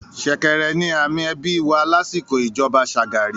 “ ṣẹ̀kẹ̀rẹ̀” ni àmì ẹbí wà lásìkò ìjọba Shagari.